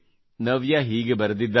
ನವ್ಯಾ ಹೀಗೆ ಬರೆದಿದ್ದಾರೆ